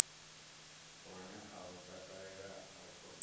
lune a lu takalela rekhodo